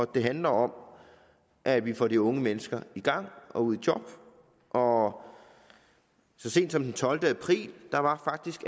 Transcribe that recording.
det handler om at vi får de unge mennesker i gang og ud i job og så sent som den tolvte april var